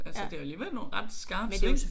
Altså det er alligevel nogle ret skarpe sving